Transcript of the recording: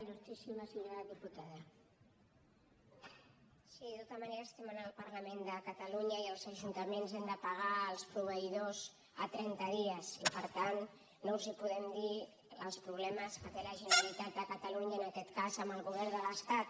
sí de tota manera estem en el parlament de catalunya i els ajuntaments hem de pagar els proveïdors a trenta dies i per tant no els podem dir els problemes que té la generalitat de catalunya en aquest cas amb el govern de l’estat